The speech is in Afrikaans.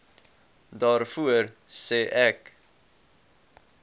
daarvoor sê ek